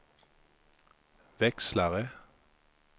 växlare